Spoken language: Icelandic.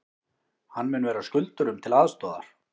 Hann mun vera skuldurum til aðstoðar